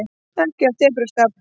Ekki af tepruskap.